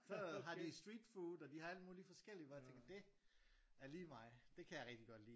Så har de streetfood og de har alt muligt forskelligt hvor jeg tænker dét er lige mig det kan jeg rigtig godt lide